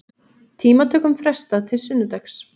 Tímatökum frestað til sunnudags